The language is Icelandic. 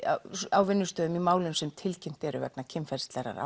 á vinnustöðum í málum sem tilkynnt eru vegna kynferðislegrar